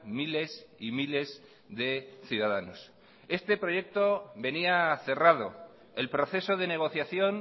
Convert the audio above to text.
miles y miles de ciudadanos este proyecto venía cerrado el proceso de negociación